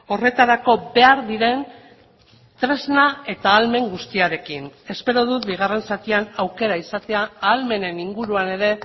horretarako behar diren tresna eta ahalmen guztiarekin espero dut bigarren zatian aukera izatea ahalmenen inguruan ere